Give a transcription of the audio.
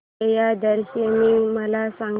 विजयादशमी मला सांग